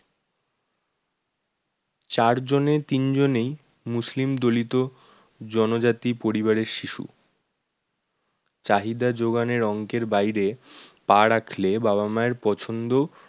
চার জনের তিন জনেই মুসলিম দলিত জনজাতি পরিবারের শিশু চাহিদা জোগানের অঙ্কের বাইরে পা রাখলে বাবা মায়ের পছন্দ